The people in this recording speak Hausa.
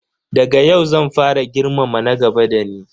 Daga yau zan fara girmama na gaba da ni.